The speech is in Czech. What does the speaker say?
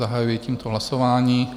Zahajuji tímto hlasování.